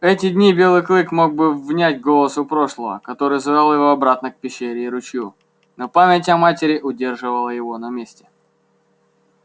в эти дни белый клык мог бы внять голосу прошлого который звал его обратно к пещере и ручью но память о матери удерживала его на месте